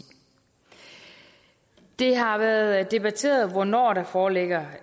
det har været debatteret hvornår der foreligger